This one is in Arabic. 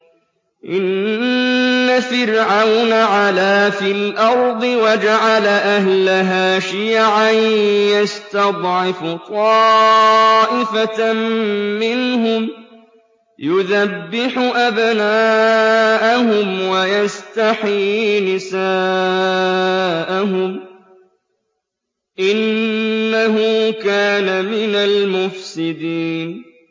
إِنَّ فِرْعَوْنَ عَلَا فِي الْأَرْضِ وَجَعَلَ أَهْلَهَا شِيَعًا يَسْتَضْعِفُ طَائِفَةً مِّنْهُمْ يُذَبِّحُ أَبْنَاءَهُمْ وَيَسْتَحْيِي نِسَاءَهُمْ ۚ إِنَّهُ كَانَ مِنَ الْمُفْسِدِينَ